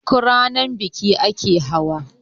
duk Rana biki ake hawa?